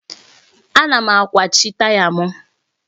Ana m akwachi taya m.